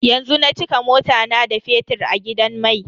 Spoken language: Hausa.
Yanzu na cika mota na da fetir a gidan mai.